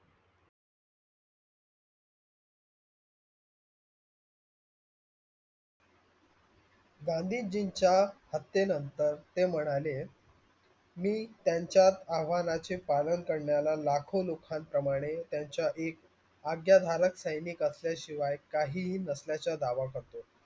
गांधीजीचा हॅते नंतर ते मानले, मी त्यांच्या आव्हानचे पालन करणाऱ्या लाखों लोकं प्रमाणे त्यांच्या एक आज्ञाधारक सैनिक असाल्या शिवाय मी कही नसल्याच्या दावा करतो.